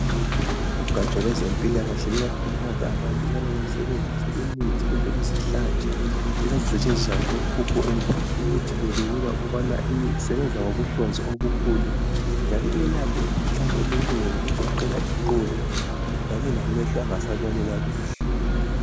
Ugatsha lwezempilakahle luyakhuthaza abantu ukubana basebenzise imithi kumbe izihlatsha ezazisetshenziswa ngabokhokho endulo. Imithi le kubikwa ukubana isebenza ngokohlonzi olukhulu njalo iyelapha imikhuhlane eminengi egoqela iqolo kanye lamehlo angasaboni kakuhle.